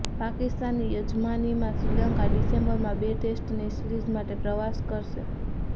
પાકિસ્તાનની યજમાનીમાં શ્રીલંકા ડીસેમ્બરમાં બે ટેસ્ટની સીરીઝ માટે પ્રવાસ કરશે